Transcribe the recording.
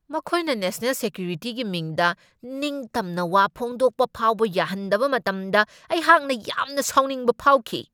ꯃꯈꯣꯏꯅ ꯅꯦꯁꯅꯦꯜ ꯁꯦꯀ꯭ꯌꯨꯔꯤꯇꯤꯒꯤ ꯃꯤꯡꯗ ꯅꯤꯡꯇꯝꯅ ꯋꯥ ꯐꯣꯡꯗꯣꯛꯄ ꯐꯥꯎꯕ ꯌꯥꯍꯟꯗꯕ ꯃꯇꯝꯗ ꯑꯩꯍꯥꯛꯅ ꯌꯥꯝꯅ ꯁꯥꯎꯅꯤꯡꯕ ꯐꯥꯎꯈꯤ ꯫